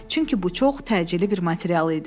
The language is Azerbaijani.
Çünki bu çox təcili bir material idi.